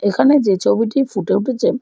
এখানে যে ছবিটি ফুটে উঠেছেন।